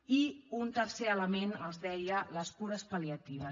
i un tercer element els ho deia les cures pal·liatives